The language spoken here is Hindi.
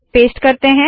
पेस्ट करते है